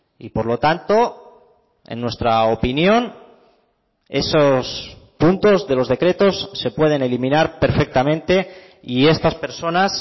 y por lo tanto en nuestra opinión esos puntos de los decretos se pueden eliminar perfectamente y estas personas